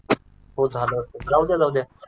हो झालंय जाऊद्या जाऊद्या